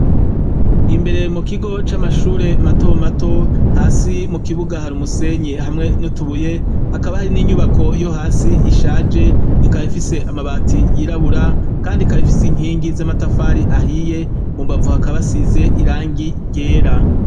Imbere mukigo c'Amashure matomato, hasi mukibuga hari umusenyi hamwe n'utubuye hakaba hari inyubakwa yohasi ishaje ikaba ifise amabati yirabura, kandi ikaba ifise inkingi z'amatafari ahiye, mumbavu hakaba hasize irangi ryera.